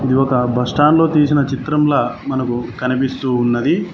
ఇది ఒక బస్టాండ్ లో తీసిన చిత్రంలా మనకు కనిపిస్తూ ఉన్నది.